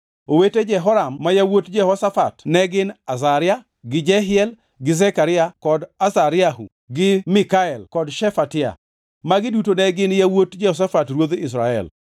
Owete Jehoram ma yawuot Jehoshafat ne gin Azaria gi Jehiel gi Zekaria kod Azariahu gi Mikael kod Shefatia. Magi duto ne gin yawuot Jehoshafat ruodh Israel.